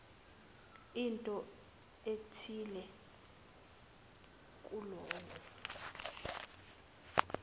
into ethile kuloyo